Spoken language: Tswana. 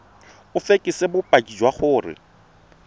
o fekese bopaki jwa gore